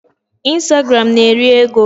Instagram na-eri ego.